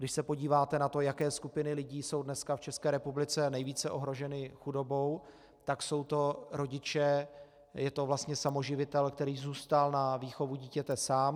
Když se podíváte na to, jaké skupiny lidí jsou dneska v České republice nejvíce ohroženy chudobou, tak jsou to rodiče, je to vlastně samoživitel, který zůstal na výchovu dítěte sám.